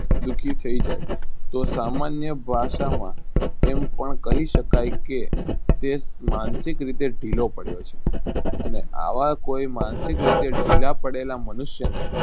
દુઃખી થય જાય તો સમાન્ય ભાષામાં એમ ઓણ કહી શકાય કે તે માનષિક રીતે ઢીલો પડયો છે. અને આવા કોઈ માનસિક રીતે ઢીલા પડેકે મનુષ્યને